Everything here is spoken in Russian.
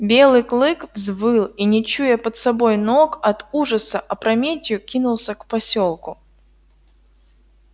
белый клык взвыл и не чуя под собой ног от ужаса опрометью кинулся к посёлку